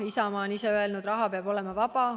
Isamaa on ise öelnud, et raha peab olema vaba.